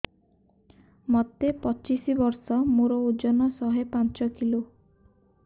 ମୋତେ ପଚିଶି ବର୍ଷ ମୋର ଓଜନ ଶହେ ପାଞ୍ଚ କିଲୋ